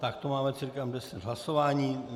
Tak to máme cca deset hlasování.